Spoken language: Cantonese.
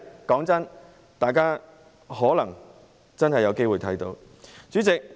坦白說，大家可能真的有機會看到這一天。